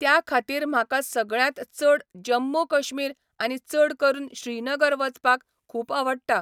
त्या खातीर म्हाका सगळ्यांत चड जम्मू कश्मीर आनी चड करून श्रीनगर वचपाक खूब आवडटा